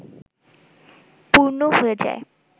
পূর্ণ হয়ে যায়